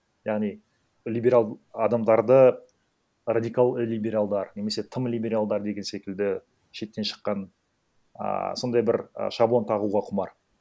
яғни либерал адамдарды радикал либералдар немесе тым либералдар деген секілді шеттен шыққан ааа сондай бір і шаблон тағуға құмар